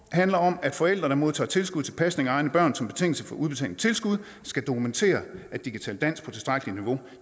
handler om at forældre der modtager tilskud til pasning af egne børn som betingelse for udbetaling af tilskud skal dokumentere at de kan tale dansk på tilstrækkeligt niveau